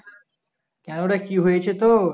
কেন রে কি হয়েছে তোর